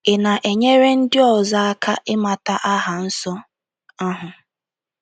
Ị̀ na-enyere ndị ọzọ aka ịmata aha nsọ ahụ?